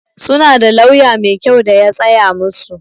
Su na da lauya mai kyau da ya tsaya musu.